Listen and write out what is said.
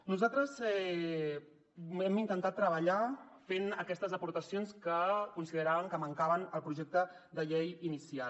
nosaltres hem intentat treballar fent aquestes aportacions que consideràvem que mancaven al projecte de llei inicial